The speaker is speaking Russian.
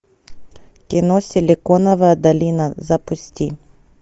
кино силиконовая долина запусти